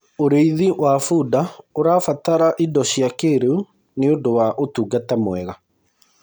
ũrĩithi wa bunda ũrabatara indo cia kĩiriu nĩũndũ wa utungata mwega